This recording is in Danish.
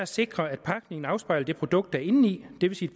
sikre at pakningen afspejler det produkt der er indeni det vil sige